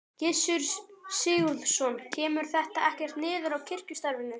Gissur Sigurðsson: Kemur þetta ekkert niður á kirkjustarfinu?